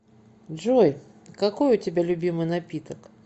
джой какой у тебя любимый напиток